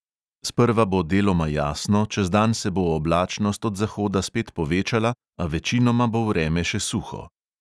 Sprva bo deloma jasno, čez dan se bo oblačnost od zahoda spet povečala, a večinoma bo vreme še suho.